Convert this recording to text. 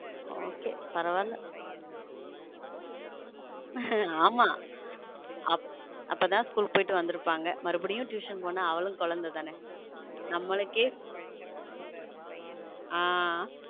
Okay பரவால்ல ஆம அப்போதான் school போயிட்டு வந்திருப்பாங்க மறுபடியும் tuition போனா அவளும் குழந்தை தானே நமக்க ஹம்